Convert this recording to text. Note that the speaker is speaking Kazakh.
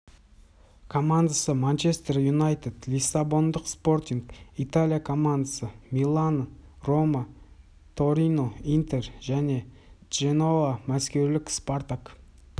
командасы манчестер юнайтед лиссабондық спортинг италья командасы милан рома торино интер мен дженоа мәскеулік спартак